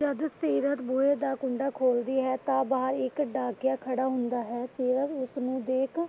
ਜੱਦ ਸੀਰਤ ਬੂਹੇ ਦਾ ਕੁੰਡਾ ਖੋਲਦੀ ਹੈ ਤਾਂ ਬਾਹਰ ਇੱਕ ਡਾਕੀਆ ਖੜਾ ਹੁੰਦਾ ਹੈ। ਸੀਰਤ ਉਸਨੂੰ ਦੇਖ